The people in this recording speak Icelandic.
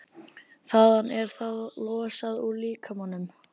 Þaðan er það losað úr líkamanum.